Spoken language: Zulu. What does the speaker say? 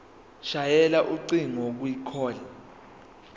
shayela ucingo kwicall